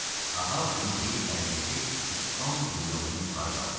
Ahav bunu deyib əlindəki ispan dublyonunu yuxarı qaldırdı.